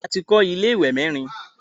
A tin kọ́ ilé ìwẹ̀ miran